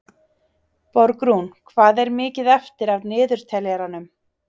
Borgrún, hvað er mikið eftir af niðurteljaranum?